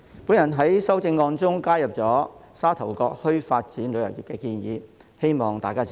主席，我在修正案中加入沙頭角墟發展旅遊業的建議，希望大家支持。